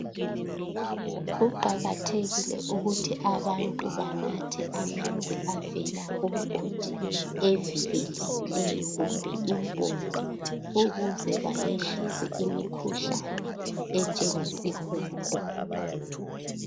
Kuqakathekile ukuthi abantu banathe amanzi avela kumgodi evikelekileyo kumbe impompi ukuze bayehlise imikhuhlane enjengesihudo.